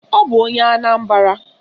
Ọ bụ onye Anambara.